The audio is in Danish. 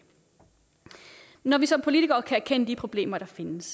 når vi som politikere kan erkende de problemer der findes